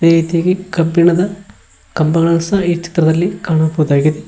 ಈಚೆಗೆ ಕಬ್ಬಿಣದ ಕಂಬಗಳನ್ನು ಸಹ ಈ ಚಿತ್ರದಲ್ಲಿ ಕಾಣಬಹುದಾಗಿದೆ.